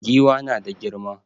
Giwa na da girma